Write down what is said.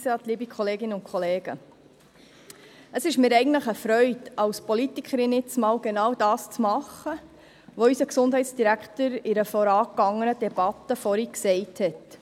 Es ist mir eine Freude, als Politikerin einmal genau das tun zu dürfen, was unser Gesundheitsdirektor in einem vorangegangenen Votum erwähnt hat.